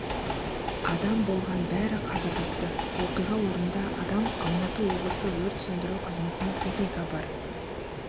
адам болған бәрі қаза тапты оқиға орнында адам алматы облысы өрт сөндіру қызметінен техника бар